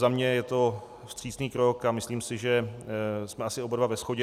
Za mě je to vstřícný krok a myslím si, že jsme asi oba dva ve shodě.